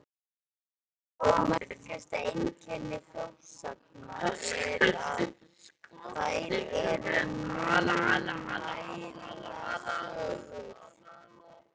Fyrsta og merkasta einkenni þjóðsagna er, að þær eru munnmælasögur.